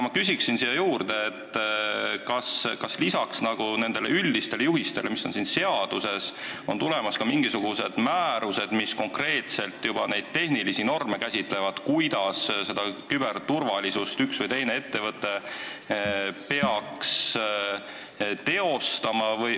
Ma küsin aga siia juurde, kas peale nende üldiste juhiste, mis on seaduses, tulevad ka mingisugused määrused, mis käsitlevad konkreetsemalt tehnilisi norme, kuidas üks või teine ettevõte peaks küberturvalisust tagama.